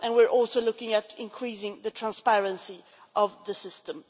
And we are also looking at increasing the transparency of the system.